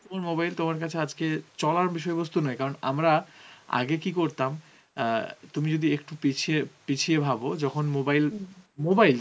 কোন mobile তোমার কাছে আজকে চলার বিষয়ে বস্তু নয় কারণ আমরা আগে কি করতাম অ্যাঁ তুমি যদি একটু পিছিয়ে পিছিয়ে ভাব যখন mobile~ mobile